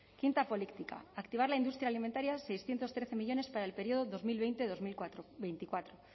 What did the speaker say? quinta política activar la industria alimentaria seiscientos trece millónes para el periodo dos mil veinte dos mil veinticuatro